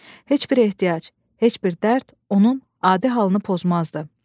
Heç bir ehtiyac, heç bir dərd onun adi halını pozmazdı.